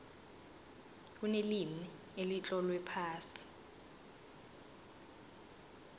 kunelimi elitlolwe phasi